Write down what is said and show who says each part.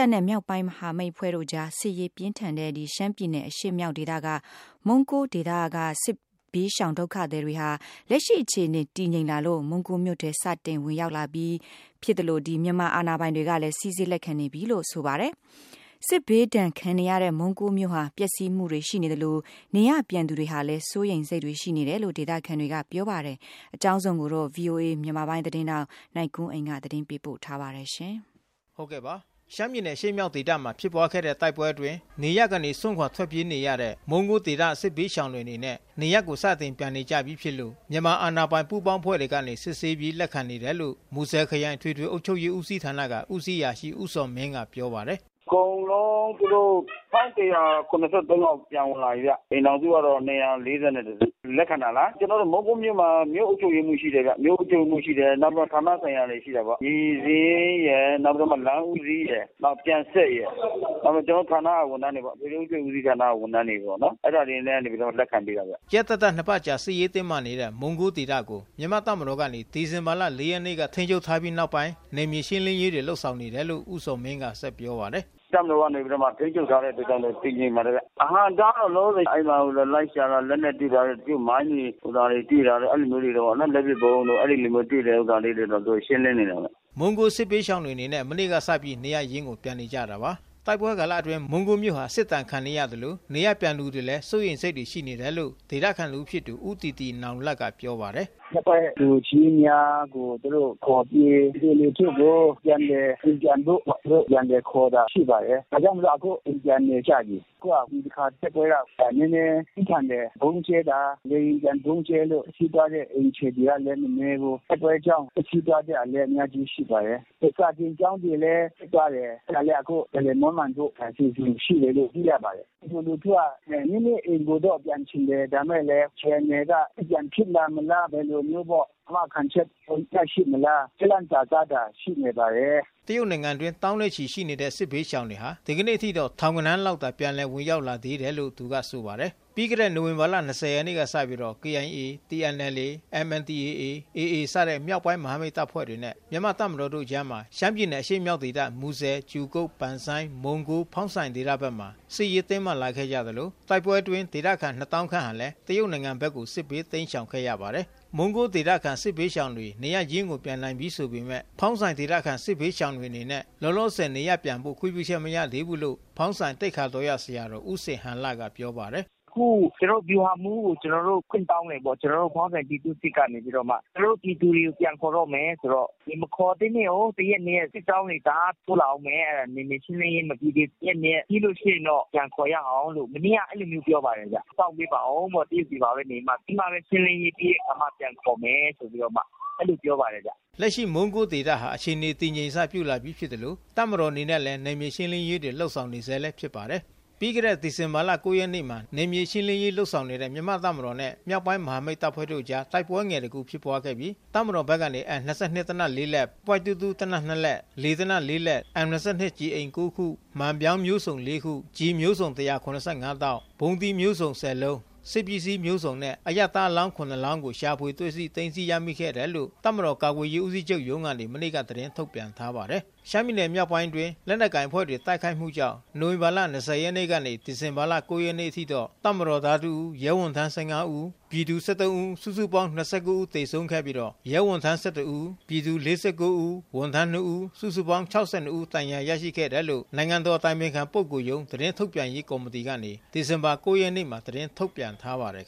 Speaker 1: ာ်နဲ့ မြောက်ပိုင်းမဟာမိတ်တပ်ဖွဲ့တို့အကြား စစ်ရေးပြင်းထန်ခဲ့တဲ့ ရှမ်းပြည်နယ်အရှေ့မြောက်ဒေသက မုံးကိုးဒေသကစစ်ဘေးရှောင်ပြည်သူတွေဟာ လက်ရှိမခြေအနေတည်ငြိမ်လာလို့ မုံးကိုးမြို့ထဲ စတင်ဝင်ရောက်လာပြီး ဖြစ်သလို မြန်မာ့အာဏာပိုင်တွေကလဲ စီစစ်လက်ခံနေပြီးဖြစ်ပါတယ်။ စစ်ဘေးဒဏ်ခံနေရတဲ့မုံးကိုးမြို့ဟာ ပျက်စီးမှုတွေရှိ နေသလို နေရပ်ပြန်သူတွေဟာလဲ စိုးရိမ်စိတ်တွေရှိနေတယ်လို့ ဒေသခံတွေကပြောပါတယ်။ ဗီအိုအေသတင်းထောက် နိုင်ကွန်းအိန်ကနေဆက်သွယ်မေးမြန်းပြီးသတင်းပေးပို့ထားပါတယ်။ ရှမ်းပြည်နယ်အရှေ့မြောက်ဒေသမှာ ဖြစ်ပွားခဲ့တဲ့တိုက်ပွဲအတွင်း နေရပ်ကနေစွန့်ခွါထွက်ပြေးနေရတဲ့ မုံးကိုးဒေသ စစ်ဘေးရှောင်တွေအနေနဲ့ နေရပ်ကိုစတင်ပြန်နေကြပြီးဖြစ်လို့ မြန်မာအာဏာပိုင်ပူးပေါင်းအဖွဲ့ကနေ စစ်ဆေးပြီး လက်ခံနေတယ်လို့ မူဆယ်ခရိုင် အထွေထွေအုပ်ချုပ်ရေး ဦးစီးဌာနမှ ဦးစီးအရာရှိ ဦးဇော်မင်းက ပြောပါတယ်။
Speaker 2: “အကုန်လုံး ၁၁၇၃ ယောက်ပြန်ဝင်လာပြီခင်ဗျ အိမ်ထောင်စုကတော့ ၂၄၁ စု လက်ခံပါတယ်။ ကျနော်တို့ မုံးကိုးမြို့မှာ မြို့အုပ်ချုပ်ရေးမှူးရှိတယ်ခင်ဗျ ၊ နောက်ပြီးတော့ ဌာနဆိုင်ရာတွေရှိတယ်ပေါ့။ လမ်းဦးစီး၊ ပြန်ဆက်ရယ် ၊ ကျနော်တို့ အထွေထွေအုပ်ချုပ်ရေးဌာနက ဝန်ထမ်းတွေပေါ့။ အဲဒါတွေကနေပြီးတော့ လူတွေကို လက်ခံပေးတာခင်ဗျ
Speaker 1: ။” ရက်သတ္တနှစ်ပါတ်အကြာစစ်ရေးတင်းမာနေခဲ့တဲ့ မုံးကိုးဒေသကိုမြန်မာ့တပ်မတော်ကနေ ဒီဇင်ဘာ ရက်နေ့က ထိမ်းချုပ်ထားပြီးနောက်ပိုင်း နယ်မြေရှင်းလင်းရေးတွေ လုပ်ဆောင်နေတယ်လို့လဲ ဦးဇော်မင်းက ပြောပါတယ်။
Speaker 2: “တပ်မတော်ကနေပြီးတော့မှ ထိန်းချုပ်ထားတဲ့အတွက်ကြောင့်မို့ တည်ငြိမ်ပါတယ်။ အဟန့်အတား ကတော့ လောလောဆယ်အဲဒီမှာလိုက်ရှာတော့ လက်နက်တွေ့တာတို့ ၊ မိုင်း နောက် လက်ပစ်ဗုံးတွေတွေ့တာလေးတွေ ရှင်းလင်းနေတယ်ခင်ဗျ။
Speaker 1: ” မုံးကိုးစစ်ဘေးရှောင်တွေအနေနဲ့ မနေ့ကစပြီးနေရပ်ရင်းကိုပြန်နေကြတာပါ။ တိုက်ပွဲကာလအတွင်း မုန်းကိုးမြို့ဟာ စစ်ဒဏ်ခံနေရသလို နေရပ်ပြန်သူတွေဟာလဲ စိုးရိမ်စိတ်တွေရှိနေတယ်လို့ ဒေသခံတဦးဖြစ်သူ ဦးတီတီနောင်လတ် ကပြောပါတယ်။ “ရ
Speaker 3: က်ကွက်လူကြီးများကို သူတို့ခေါ်ပြီး ပြည်သူလူထုကို အိမ်ပြန်ဖို့ သူတို့ပြန်ခေါ်တာရှိပါတယ်။ ဒါကြောင့် အခုအိမ်ပြန်နေကြပြီ။ ဒီတခါ တိုက်ပွဲက နည်းနည်းပြင်းထန်တယ်၊ ဗုံးကျဲတာ ၊ လေယာဉ်ဗုံးကျဲလို့ ထိတဲ့အိမ်ခြေတွေကလည်း မနည်းဘူး ၊ တိုက်ပွဲကြောင့် ပျက်စီးသွားတာလည်း အများကြီးရှိပါတယ်။ စာသင်ကျောင်းတွေလည်း ပျက်သွားတယ် အဲဒါအခုပြန်လည်မွန်းမံဖို့ရှိတယ်လို့ သိရပါတယ်ဒ ပြည်သူလူထုက အိမ်ကိုတော့ ပြန်ချင်တယ်၊ ဒါပေမယ့် အခြေအနေက ပြန်ဖြစ်လာမလား၊ အာမခံချက်ရှိသလား ဆိုတာတော့ ရှိနေပါတယ်။
Speaker 1: ” တရုတ်နိုင်ငံအတွင်းသောင်းနဲ့ချီတဲ့စစ်ဘေးရှောင်တွေဟာ ဒီကနေ့အထိထောင်ဂဏန်းလောက်သာ ပြန်လည်ဝင် ရောက်လာသေးတယ်လို့သူကဆိုပါတယ်။ ပြီးခဲ့တဲ့ နိုဝင်ဘာလ ရက်နေ့ကစပြီး KIA / TNLA / MNDAA / AA စတဲ့ မြောက်ပိုင်းမဟာမိတ်တပ်ဖွဲ့နဲ့ မြန်မာ့တပ် မတော်တို့အကြား ရှမ်းပြည်နယ်အရှေ့မြောက်ဒေသ မူဆယ် ကြူကုတ် ပန်ဆိုင်း မုံးကိုး ဖေါင်းဆိုင်ဒေသဘက်မှာ စစ်ရေးတင်းမာလာခဲ့ကြသလို တိုက်ပွဲတွေအတွင်းဒေသခံ သောင်းခန့်ဟာလဲ တရုတ်နိုင်ငံဘက်ကို စစ်ဘေးတိမ်း ရှောင်ခဲ့ကြရပါတယ်။ မုံးကိုးဒေသခံစစ်ဘေးရှောင်တွေ နေရပ်ရင်းပြန်နိုင်ပြီးဆိုပေမဲ့ ဖေါင်းဆိုင်ဒေသခံစစ်ဘေးရှောင်တွေအနေနဲ့ လော လောဆယ် နေရပ်ပြန်ဖို့ ခွင့်ပြုချက်မရသေးဘူးလို့ ဖေါင်းဆိုင်သိက္ခာတော်ရဆရာတော် ဦးဇင်ဟန်လကပြောပါတယ်။ “ အခု ကျနော်တို့ ဗျူဟာမှူးကို ကျနော်တို့ ခွင့်တောင်းတယ်၊ ကျနော်တို့ ဖောင်းဆိုင်ပြည်သူ့စစ်ကနေပြီးတော့မှ ဖောင်းဆိုင်ပြည်သူတွေကို ပြန်
Speaker 3: ခေါ်တော့မယ်ဆိုတော့ မခေါ်သေးနဲ့အုန်း ၊ ၁ ရက် ၂ ရက် စစ်ကြောင်းတွေ တအားတိုးလာမယ် ၊ နယ်မြေရှင်းလင်းရေးမပြီးသေးဘူး ပြီးရင်တော့ ပြန်ခေါ်ရအောင်ဆိုပြီးတော့ မနေ့ကအဲဒီလို ပြောတယ်ခင်ဗျ။ စောင့်ပေးပါဦး ခဏ တရုတ်ပြည်မှာနေပြီးတော့မှ ရှင်းလင်းရေးပြီးတဲ့အခါမှ ပြန်ခေါ်မယ်ဆိုပြီးတော့ အဲလိုပြောပ
Speaker 1: ါတယ်ခင်ဗျ။” လက်ရှိမုံးကိုးဒေသဟာ အခြေအနေတည်ငြိမ်စပြုလာပြီးဖြစ်သလို တပ်မတော်အနေနဲ့လည်း နယ်မြေရှင်းလင်းရေးတွေ လုပ်ဆောင်နေဆဲလဲဖြစ်ပါတယ်။ ပြီးခဲ့တဲ့ ဒီဇင်ဘာ ရက်နေ့မှာ နယ်မြေရှင်းလင်းရေးလုပ်ဆောင်နေတဲ့ မြန်မာ့တပ်မတော်နဲ့မြောက်ပိုင်းမဟာမိတ် တပ်ဖွဲ့တို့အကြားတိုက်ပွဲငယ်တခုဖြစ်ပွါးခဲ့ပြီး တပ်မတော်ဘက်က အမ် ၂၂ သေနတ် ၄ လက်၊ ပွိုင့် ၂၂ သေနတ် ၂ လက်၊ လေသေနတ် ၄ လက်၊ အမ် ၂၂ ကျည်အိမ် ၉ ခု၊ မှန်ပြောင်းမျိုးစုံ ၄ ခု၊ ကျည်မျိုးစုံ ၁၇၅ တောင့်၊ ဗုံးသီးမျိုးစုံ ၁၁ လုံး၊ စစ်ပစ္စည်းမျိုးစုံနှင့် အရပ်သားအလောင်း ၇ လောင်းတို့ကို ရှာဖွေတွေ့ရှိသိမ်းဆည်းရမိခဲ့တယ်လို့ တပ်မတော် ကာကွယ်ရေးဦးစီးချုပ်ရုံးကနေ မနေ့ကသတင်းထုတ်ပြန်ထားပါတယ်။ ရှမ်းပြည်နယ် မြောက်ပိုင်းအတွင်း လက်နက်ကိုင်အဖွဲ့များ တိုက်ခိုက်မှုကြောင့် နိုဝင်ဘာ ၂၀ ရက်နေ့မှ ဒီဇင်ဘာ ၉ ရက်နေ့ထိ တပ်မတော်သား တစ်ဦး၊ရဲဝန်ထမ်း ၁၅ ဦး၊ ပြည်သူ ၁၃ ဦး၊ စုစုပေါင်း ၂၉ ဦးသေဆုံးပြီး ရဲဝန်ထမ်း ၁၁ဦး၊ ပြည်သူ ၄၉ဦး၊ ဝန်ထမ်း ၂ဦး၊ စုစုပေါင်း ၆၂ဦး ဒဏ်ရာရရှိခဲ့တယ်လို့ နိုင်ငံတော်အတိုင်ပင်ခံပုဂ္ဂိုလ်ရုံး သတင်းထုတ်ပြန် ရေးကော်မတီကနေ ဒီဇင်ဘာ ၉ ရက်နေ့မှာ သတင်းထုတ်ပြန်ထားပါတယ်